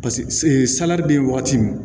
salati be yen wagati min